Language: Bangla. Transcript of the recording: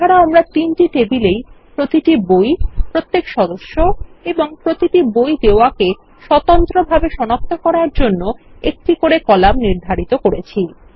এছাড়াও আমরা তিনটি টেবিলেই প্রতিটি বই প্রত্যেক সদস্য এবং প্রতিটি বই দেওয়াকে স্বতন্ত্র ভাবে সনাক্ত করার জন্য একটি করে কলাম নির্ধারিত করেছি